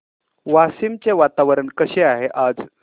वाशिम चे वातावरण कसे आहे आज